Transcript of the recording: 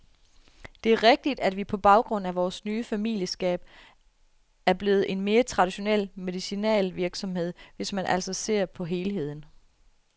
Det er rigtigt, at vi på grund af vores nye familieskab er blevet en mere traditionel medicinalvirksomhed, hvis man altså ser på helheden.